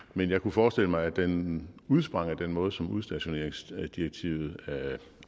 men jeg kunne forestille mig at den udsprang af den måde som udstationeringsdirektivet